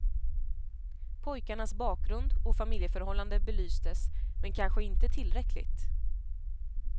Pojkarnas bakgrund och familjeförhållanden belystes, men kanske inte tillräckligt.